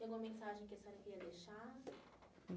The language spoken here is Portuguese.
Tem alguma mensagem que você queria deixar?